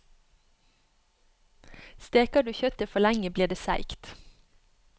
Steker du kjøttet for lenge, blir det seigt.